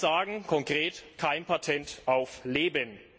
Wir sagen konkret Kein Patent auf Leben.